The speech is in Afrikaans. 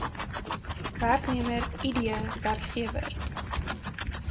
werknemer id werkgewer